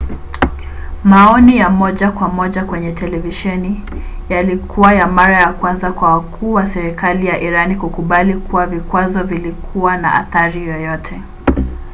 maoni ya moja kwa moja kwenye televisheni yalikuwa ya mara ya kwanza kwa wakuu wa serikali ya irani kukubali kuwa vikwazo vilikuwa na athari yoyote